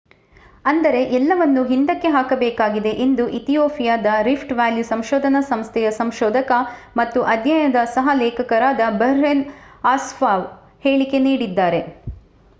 ಅಂದರೆ ಎಲ್ಲವನ್ನೂ ಹಿಂದಕ್ಕೆ ಹಾಕಬೇಕಾಗಿದೆ ಎಂದು ಇಥಿಯೋಪಿಯಾದ ರಿಫ್ಟ್ ವ್ಯಾಲಿ ಸಂಶೋಧನಾ ಸೇವೆಯ ಸಂಶೋಧಕ ಮತ್ತು ಅಧ್ಯಯನದ ಸಹ ಲೇಖಕರಾದ ಬರ್ಹೇನ್ ಅಸ್ಫಾವ್ ಹೇಳಿಕೆ ನೀಡಿದ್ದಾರೆ